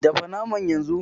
Dafa naman yanzu!